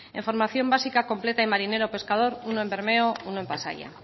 en formación básica completa y marinero pescador uno en bermeo uno en pasaia